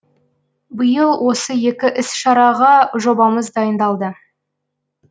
биыл осы екі іс шараға жобамыз дайындалды